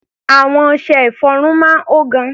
Àwọn ọṣẹ-ìfọrun máa ń hó gan.